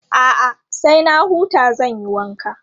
A'a, sai na huta zan yi wanka.